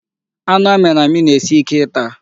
Anụ amịrị amị na-esi Ike ịta.